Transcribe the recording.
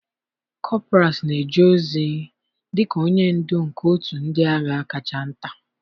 Kọpras na-eje ozi dị ka onye ndu nke otu ndị agha kacha nta.